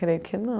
Creio que não.